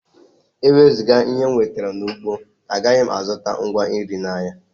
Ewezuga ihe m nwetara n’ugbo, agaghị m azụta ngwa nri n’ahịa